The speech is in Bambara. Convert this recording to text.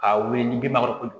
Ka wili ni bin maga kojugu